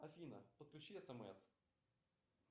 афина подключи смс